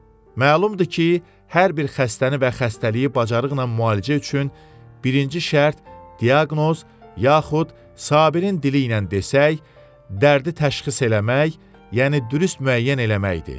Məlumdur ki, hər bir xəstəni və xəstəliyi bacarıqla müalicə üçün birinci şərt diaqnoz, yaxud Sabirin dili ilə desək, dərdi təşxis eləmək, yəni dürüst müəyyən eləməkdir.